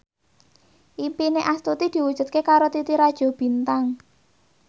impine Astuti diwujudke karo Titi Rajo Bintang